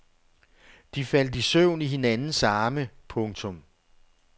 De faldt i søvn i hinandens arme. punktum